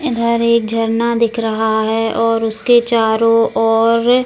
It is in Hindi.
इधर एक झरना दिख रहा है और उसके चारों और --